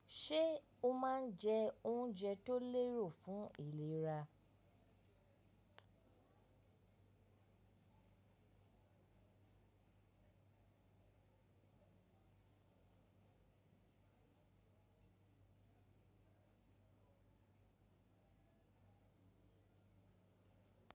Ṣé ó máa ń jẹ oúnjẹ tó lérò fún ìlera?